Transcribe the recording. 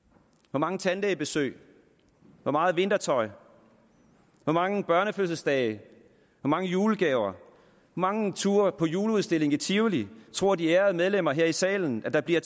hvor mange tandlægebesøg hvor meget vintertøj hvor mange børnefødselsdage hvor mange julegaver hvor mange ture på juleudstilling i tivoli tror de ærede medlemmer her i salen der bliver